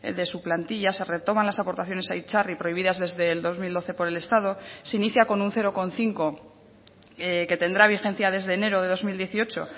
de su plantilla se retoman las aportaciones a itzarri prohibidas desde el dos mil doce por el estado se inicia con un cero coma cinco que tendrá vigencia desde enero de dos mil dieciocho